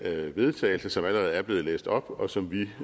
til vedtagelse som allerede er blevet læst op og som vi